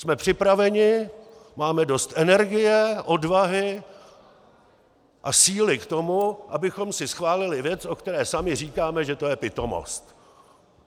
Jsme připraveni, máme dost energie, odvahy a síly k tomu, abychom si schválili věc, o které sami říkáme, že to je pitomost.